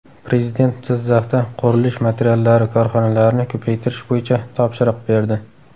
Prezident Jizzaxda qurilish materiallari korxonalarini ko‘paytirish bo‘yicha topshiriq berdi.